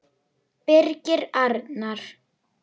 Birgir Arnar.